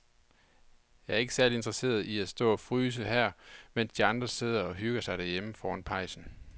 Jeg er ikke særlig interesseret i at stå og fryse her, mens de andre sidder og hygger sig derhjemme foran pejsen.